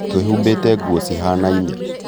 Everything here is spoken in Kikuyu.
twĩhubĩte nguo cihanaine